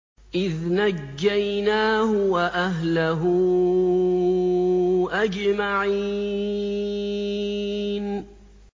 إِذْ نَجَّيْنَاهُ وَأَهْلَهُ أَجْمَعِينَ